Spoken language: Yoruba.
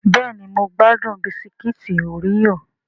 Bẹ́ẹ̀ni mo gbádùn Bisikíìtì oreo